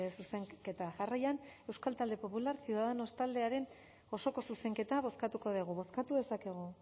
zuzenketa jarraian euskal talde popularra ciudadanos taldearen osoko zuzenketa bozkatuko dugu bozkatu dezakegu